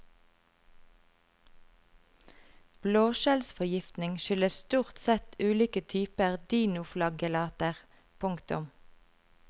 Blåskjellforgiftning skyldes stort sett ulike typer dinoflagellater. punktum